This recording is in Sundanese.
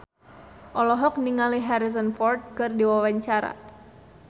Inneke Koesherawati olohok ningali Harrison Ford keur diwawancara